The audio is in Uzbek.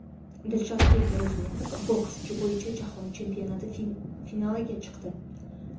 Dilshodbek Ro‘zmetov boks bo‘yicha Jahon chempionati finaliga chiqdi.